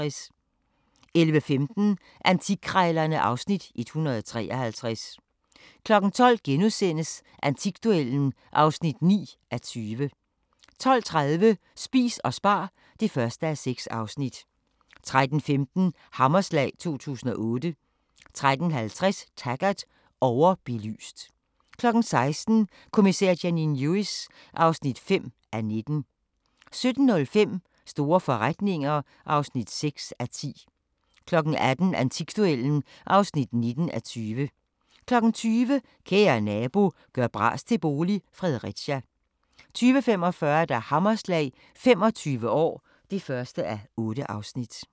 11:15: Antikkrejlerne (Afs. 153) 12:00: Antikduellen (9:20)* 12:30: Spis og spar (1:6) 13:15: Hammerslag 2008 13:50: Taggart: Overbelyst 16:00: Kommissær Janine Lewis (5:19) 17:05: Store forretninger (6:10) 18:00: Antikduellen (19:20) 20:00: Kære nabo – gør bras til bolig – Fredericia 20:45: Hammerslag – 25 år (1:8)